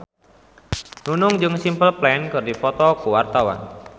Nunung jeung Simple Plan keur dipoto ku wartawan